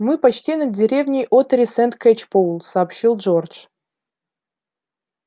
мы почти над деревней оттери-сент-кэчпоул сообщил джордж